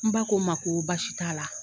N ba ko n ma ko baasi t'a la